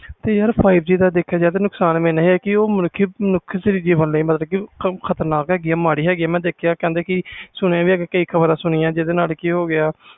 ਯਾਰ ਦਾ ਦੇਖਿਆ ਜਾਵੇ ਨੁਕਸਾਨ ਇਹਨਾਂ ਹੈ ਗਾ ਕਿ five G ਉਹ ਮਨੁੱਖ ਜੀਵਨ ਲਈ ਖ਼ਤਰਨਾਕ ਹੈ ਮੈਂ ਕਈ ਖ਼ਬਰਾਂ ਸੁਣੀਆਂ ਆ